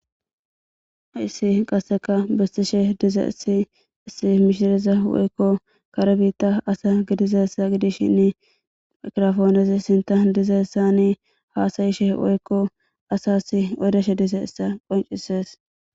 Haysi qaseka bisishe dizaysi issi mishireza woyko kare bita asa gidizaysa gidishine maykiroponezi sintan dizeysane hasa'ishe woyko asas odishe dizaysa qonc'ises.